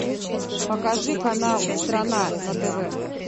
покажи канал страна на тв